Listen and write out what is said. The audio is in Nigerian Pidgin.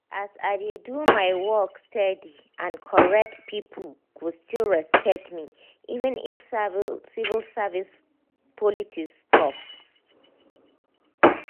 as i dey do my work steady and correct people go still respect me even if civil service politics tough.